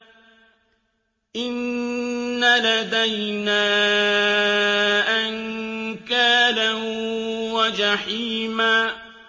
إِنَّ لَدَيْنَا أَنكَالًا وَجَحِيمًا